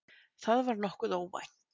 Það var nokkuð óvænt